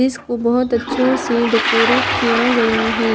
इसको बहोत अच्छो से डेकोरेट किया गया है।